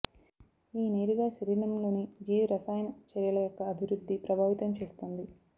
ఈ నేరుగా శరీరంలోని జీవరసాయన చర్యల యొక్క అభివృద్ధి ప్రభావితం చేస్తుంది